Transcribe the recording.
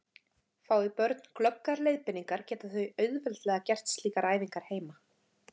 Fái börn glöggar leiðbeiningar geta þau auðveldlega gert slíkar æfingar heima.